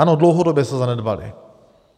Ano, dlouhodobě se zanedbaly.